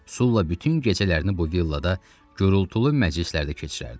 Sula bütün gecələrini bu villada gurultulu məclislərdə keçirərdi.